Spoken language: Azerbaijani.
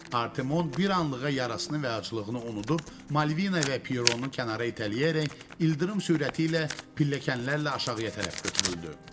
Artemon bir anlığa yarasını və aclığını unudub, Malvina və Pieronu kənara itələyərək ildırım sürəti ilə pilləkənlərlə aşağıya tərəf götürüldü.